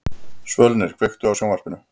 Svölnir, kveiktu á sjónvarpinu.